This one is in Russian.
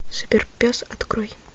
суперпес открой